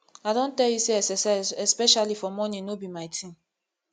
i don tell you say exercise especially for morning no be my thing